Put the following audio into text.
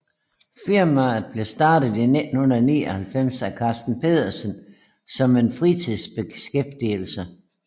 Firmaet blev startet i 1999 af Karsten Petersen som en fritidsbeskæftigelse